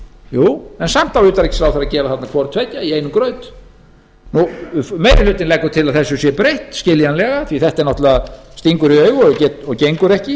jú en samt á utanríkisráðherra að gera hvort tveggja í einum graut meiri hlutinn leggur skiljanlega til að þessu sé breytt þetta stingur í augu og gengur ekki